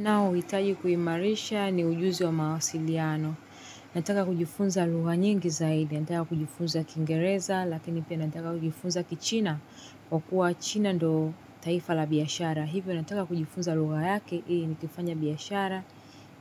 Ninaohitaji kuimarisha ni ujuzi wa mawasiliano. Nataka kujifunza lugha nyingi zaidi, nataka kujifunza Kiingereza, lakini pia nataka kujifunza Kichina, kwa kuwa China ndiyo taifa la biashara. Hivyo nataka kujifunza lugha yake, ili nikifanya biashara.